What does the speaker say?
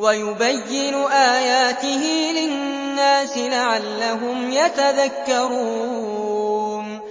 وَيُبَيِّنُ آيَاتِهِ لِلنَّاسِ لَعَلَّهُمْ يَتَذَكَّرُونَ